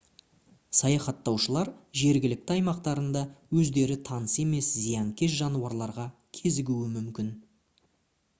саяхаттаушылар жергілікті аймақтарында өздері таныс емес зиянкес жануарларға кезігуі мүмкін